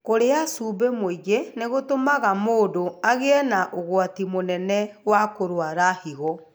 Kũrĩa cumbĩ mũingĩ nĩ gũtũmaga mũndũ agĩe na ũgwati mũnene wa kũrũara higo.